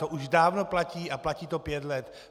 To už dávno platí a platí to pět let.